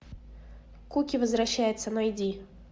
куки возвращается найди